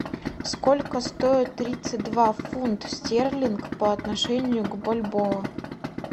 сколько стоит тридцать два фунт стерлинг по отношению к бальбоа